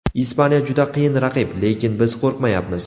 Ispaniya juda qiyin raqib, lekin biz qo‘rmayapmiz.